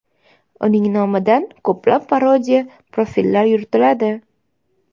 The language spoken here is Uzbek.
Uning nomidan ko‘plab parodiya profillar yuritiladi.